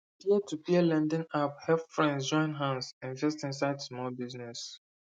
peertopeer lending app help friends join hands invest inside small business